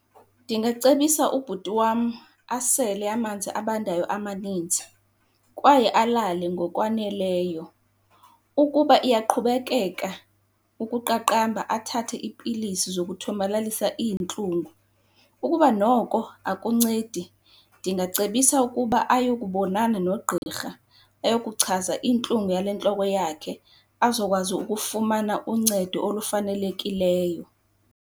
Ndingacebisa ubhuti wam asele amanzi abandayo amanintsi kwaye alale ngokwaneleyo. Ukuba iyaqhubekeka ukuqaqamba athathe iipilisi zokuthomalalisa iintlungu. Ukuba noko akuncedi, ndingacebisa ukuba ayokubonana nogqirha, eyokuchaza intlungu yale ntloko yakhe, azokwazi ukufumana uncedo olufanelekileyo.